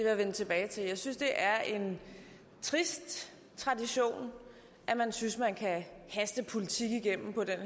jeg vende tilbage til jeg synes det er en trist tradition at man synes man kan haste politik igennem på den